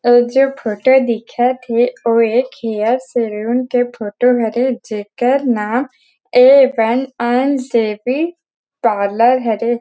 '' ओ जो फोटो दिखत हे ओ एक हेयर सैलून के फोटो हवे जेकर नाम ए मैन्स तेवी पार्लर हरे ।''